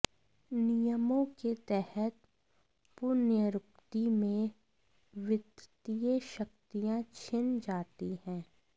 नियमों के तहत पुनर्नियुक्ति में वित्तीय शक्तियां छिन जाती हैं